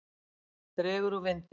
Dregur úr vindi